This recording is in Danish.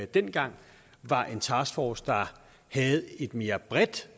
dengang var en taskforce der havde et mere bredt